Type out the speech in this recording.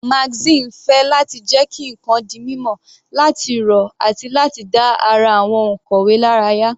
Magazine ń fẹ́ láti jẹ́ kí ǹkan di mímọ̀, láti rọ̀ àti láti dá ara àwọn onkàwe lára yá.